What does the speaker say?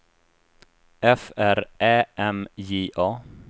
F R Ä M J A